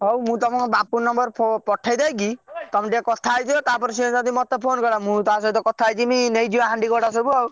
ହଉ ମୁଁ ତମକୁ ବାପୁନ ନମ୍ବର ପଠେଇ ଦେଇକି ତମେ ଟିକେ କଥା ହେଇଯିବ ତା ପରେ ସେ ଯଦି ମତେ ଫୋନ କଲା ମୁଁ ତା ସହ କଥା ହେଇଯିମି ନେଇ ଯିବା ହାଣ୍ଡି କଡା ସବୁ।